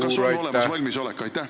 Kas on olemas valmisolek?